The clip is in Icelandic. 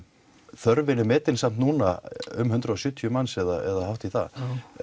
þörfin er metin samt núna um hundrað og sjötíu manns eða hátt í það